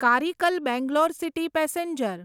Karaikal Bangalore city passenger